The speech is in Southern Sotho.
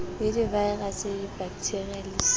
le divaerase dibakethiria le c